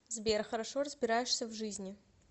сбер хорошо разбираешься в жизни